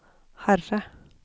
Herre